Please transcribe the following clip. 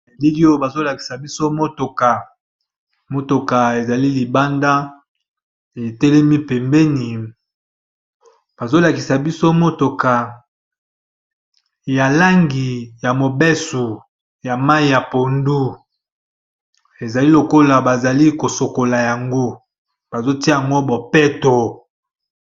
Bilili oyo bazali kolakisa biso mutuka ezali libanda etelemi pembeni ya langi ya mayi ya pondu ezali lokola bazo sukola yango batye yango bobeto.